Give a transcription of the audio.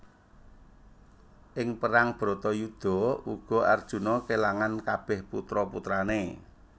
Ing perang bharatayuda uga Arjuna kèlangan kabèh putra putrané